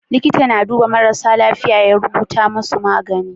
Liƙita na duba marasa lafiya su rubuta musu magani